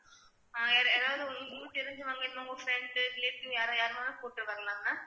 யார் யாராவது ஒண்ணு உங்களுக்கு தெரிஞ்சவங்க இனிமே உங்க friends relative யாரோ யாரு வேணாலும் கூட்டிட்டு வரலாம் ma'am